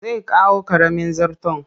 Zai kawo ƙaramin zarton